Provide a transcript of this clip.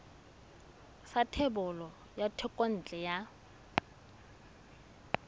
sa thebolo ya thekontle ya